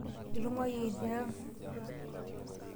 Itung'wayie tiang'?